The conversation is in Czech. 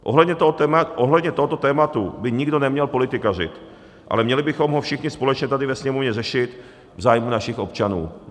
Ohledně tohoto tématu by nikdo neměl politikařit, ale měli bychom ho všichni společně tady ve Sněmovně řešit v zájmu našich občanů.